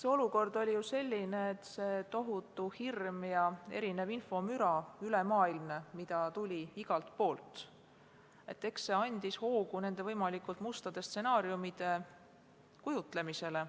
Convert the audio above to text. Eks olukord oli selline, et see tohutu hirm ja infomüra, mida tuli üle maailma igalt poolt, andis hoogu võimalikult mustade stsenaariumide kujutlemiseks.